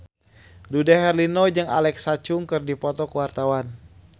Dude Herlino jeung Alexa Chung keur dipoto ku wartawan